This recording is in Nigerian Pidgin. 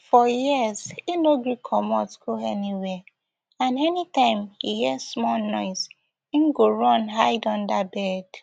for years e no gree comot go anywia and anytime e hear small noise e go run hide under bed